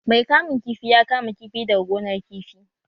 Mai kamun kifi ya kama kifi daga gonar kifi